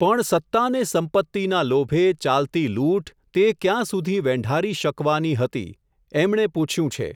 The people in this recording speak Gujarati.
પણ સત્તા ને સંપત્તિના લોભે, ચાલતી લૂટ, તે ક્યાં સુધી વેંઢારી શકવાની હતી, એમણે પૂછ્યું છે.